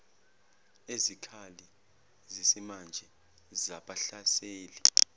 ezikhali zesimanje zabahlaseli